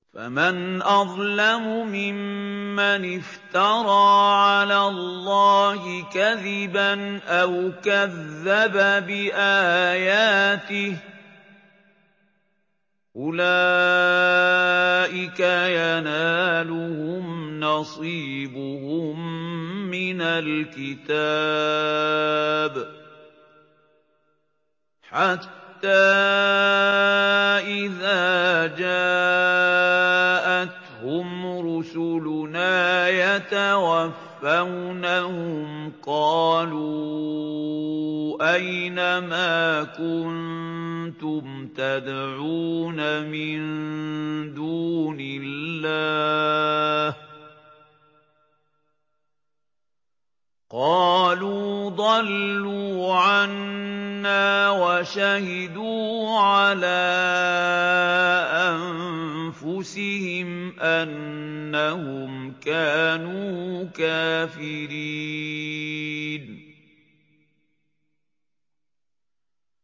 فَمَنْ أَظْلَمُ مِمَّنِ افْتَرَىٰ عَلَى اللَّهِ كَذِبًا أَوْ كَذَّبَ بِآيَاتِهِ ۚ أُولَٰئِكَ يَنَالُهُمْ نَصِيبُهُم مِّنَ الْكِتَابِ ۖ حَتَّىٰ إِذَا جَاءَتْهُمْ رُسُلُنَا يَتَوَفَّوْنَهُمْ قَالُوا أَيْنَ مَا كُنتُمْ تَدْعُونَ مِن دُونِ اللَّهِ ۖ قَالُوا ضَلُّوا عَنَّا وَشَهِدُوا عَلَىٰ أَنفُسِهِمْ أَنَّهُمْ كَانُوا كَافِرِينَ